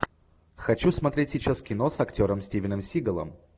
хочу смотреть сейчас кино с актером стивеном сигалом